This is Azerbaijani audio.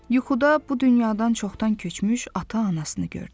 Yuxuda bu dünyadan çoxdan köçmüş ata-anasını gördü.